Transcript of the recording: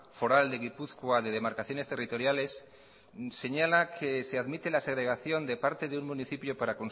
foral de gipuzkoa de demarcaciones territoriales señala que se admite la segregación de parte de un municipio para